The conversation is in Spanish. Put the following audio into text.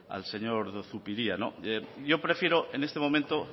al señor zupiria yo prefiero en este momento